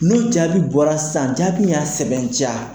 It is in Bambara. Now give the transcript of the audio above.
N'o jaabi bɔra san ,jaabi y'a sɛbɛntiya